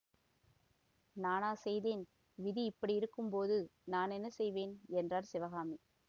நானா செய்தேன் விதி இப்படி இருக்கும் போது நான் என்ன செய்வேன் என்றார் சிவகாமி